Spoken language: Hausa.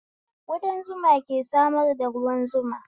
Ƙudan zuma ke samar da ruwan zuma